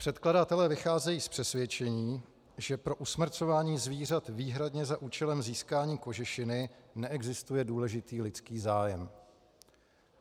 Předkladatelé vycházejí z přesvědčení, že pro usmrcování zvířat výhradně za účelem získání kožešiny neexistuje důležitý lidský zájem.